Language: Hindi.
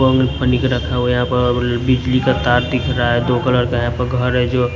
रखा हुआ है यहां पर बिजली का तार दिख रहा है दो कलर है यहां पर घर है जो--